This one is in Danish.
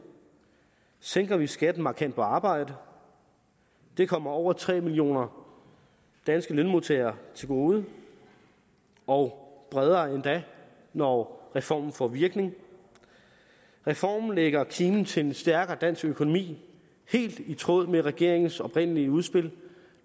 sænker vi skatten markant på arbejde det kommer over tre millioner danske lønmodtagere til gode og bredere endda når reformen får virkning reformen lægger kimen til en stærkere dansk økonomi helt i tråd med regeringens oprindelige udspil